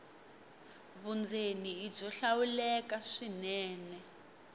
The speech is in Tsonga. vundzeni i byo hlawuleka swinene